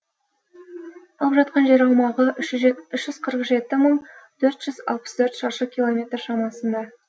алып жатқан жер аумағы үш жүз жетпіс төрт мың төрт жүз алпыс төрт шаршы километр шамасында